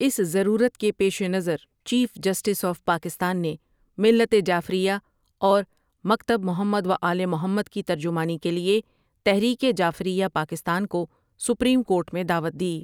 اس ضرورت کے پیش نظر چیف جسٹس آف پاکستان نے ملت جعفریہ اور مکتب محمدو ؐآل محمدؑ کی ترجمانی کے لئے تحریک جعفریہ پاکستان کو سپریم کورٹ میں دعوت دی۔